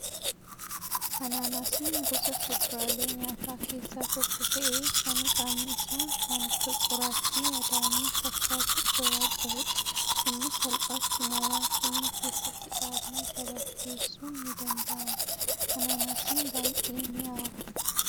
Anaanaasiin gosa fuduraalee nyaataa keessaa tokko ta'ee, kan qaamni isaa waan akka qoraattii adaamii fakkaatu ofirraa qabudha. Innis salphaatti mooraa keenya keessatti dhaabnee gabaaf dhiyeessuun ni danda'ama. Anaanaasiin baay'ee mi'aawa.